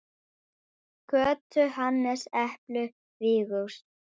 Birta: Á stólnum nýja?